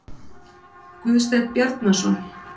Guðsteinn Bjarnason.